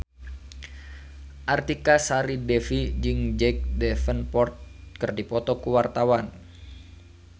Artika Sari Devi jeung Jack Davenport keur dipoto ku wartawan